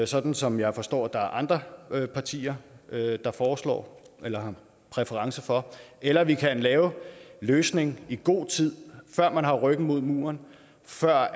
sådan som jeg forstår at der er andre partier der foreslår eller har præference for eller vi kan lave en løsning i god tid før man har ryggen mod muren før